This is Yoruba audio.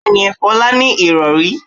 Bẹ́ẹ̀ni, Folá ní ìrọ̀rí.